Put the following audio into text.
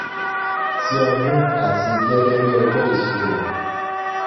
ti ọdún àti gẹ́gẹ́ bí ọjọ́ ìṣírò